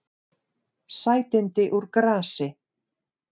Sætindi úr grasi